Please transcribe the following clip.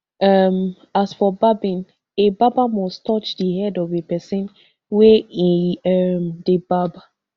um as for barbing a barber must touch di head of a pesin wey e um dey barb